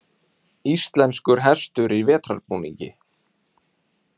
Íslenskur hestur í vetrarbúningi.